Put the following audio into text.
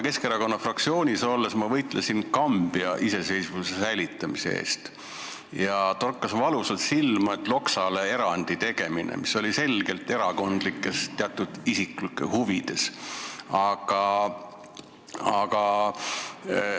Keskerakonna fraktsioonis olles ma võitlesin Kambja iseseisvuse säilitamise eest ja siis torkas Loksale erandi tegemine, mis sündis selgelt erakondlikes ja ka teatud isiklikes huvides, valusalt silma.